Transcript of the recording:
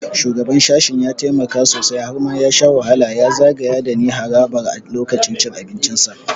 Shugaban sashen ya taimaka sosai - har ma ya sha wahala ya zagaya dani harabar a lokacin cin abincinsa.